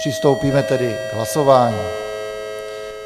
Přistoupíme tedy k hlasování.